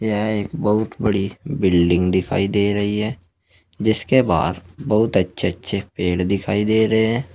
यह एक बहुत बड़ी बिल्डिंग दिखाई दे रही है जिसके बाहर बहुत अच्छे अच्छे पेड़ दिखाई दे रहे हैं।